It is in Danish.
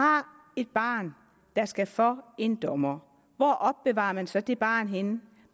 har et barn der skal for en dommer hvor opbevarer man så det barn henne